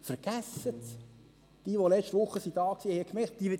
Vergessen Sie das! Diejenigen, welche letzte Woche hier waren, haben es gemerkt: